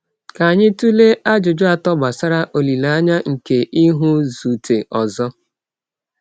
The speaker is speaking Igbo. Ka anyị tụlee ajụjụ atọ gbasara olileanya nke ịhụzute ọzọ.